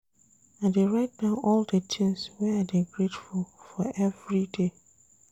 I dey write down all di tins wey I dey grateful for everyday.